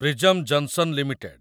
Prism Johnson limited